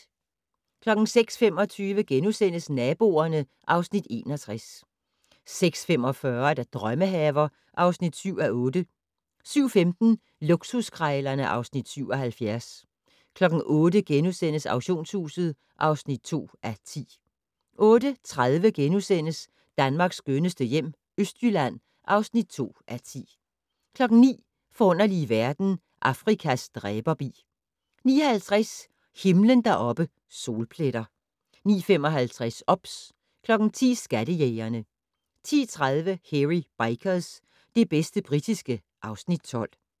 06:25: Naboerne (Afs. 61)* 06:45: Drømmehaver (7:8) 07:15: Luksuskrejlerne (Afs. 77) 08:00: Auktionshuset (2:10)* 08:30: Danmarks skønneste hjem - Østjylland (2:10)* 09:00: Forunderlige verden - Afrikas dræberbi 09:50: Himlen deroppe: Solpletter 09:55: OBS 10:00: Skattejægerne 10:30: Hairy Bikers - det bedste britiske (Afs. 12)